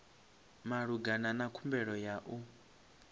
malugana na khumbelo ya u